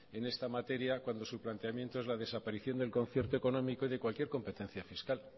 en esta materia cuando su planteamiento es la desaparición del concierto económico y de cualquier competencia fiscal